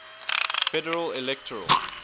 federal electoral